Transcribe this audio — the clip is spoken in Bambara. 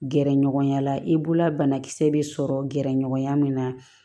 Gɛrɛ ɲɔgɔnya la i bolola banakisɛ bɛ sɔrɔ gɛrɛɲɔgɔnya min na